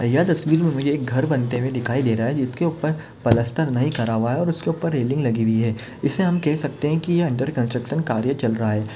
यह तस्वीर मे मुझे एक घर बनते हुए दिखाई दे रहा है जिसके उपर प्लास्टर नहीं करा हुआ है और उसके उपर रेलिंग लगी हुई है इसे हम कह सकते है की ए अंडर कनस्ट्रक्शन कार्य चल रहा है।